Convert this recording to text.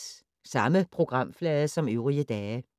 Samme programflade som øvrige dage